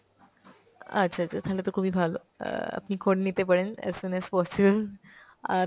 আচ্ছ আচ্ছা, থালে তো খুবই ভালো, অ্যাঁ আপনি করে নিতে পারেন as soon as possible। অ্যাঁ